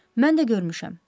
Mən də görmüşəm.